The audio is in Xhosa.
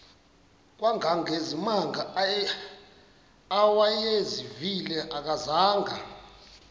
kangangezimanga awayezivile akazanga